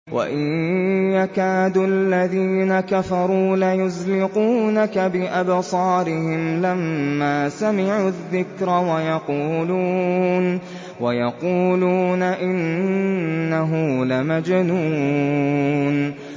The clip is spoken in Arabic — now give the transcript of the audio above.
وَإِن يَكَادُ الَّذِينَ كَفَرُوا لَيُزْلِقُونَكَ بِأَبْصَارِهِمْ لَمَّا سَمِعُوا الذِّكْرَ وَيَقُولُونَ إِنَّهُ لَمَجْنُونٌ